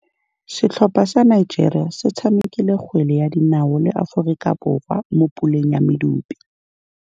Setlhopha sa Nigeria se tshamekile kgwele ya dinaô le Aforika Borwa mo puleng ya medupe.